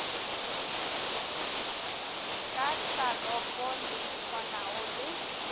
ka tlhalopo le swanago le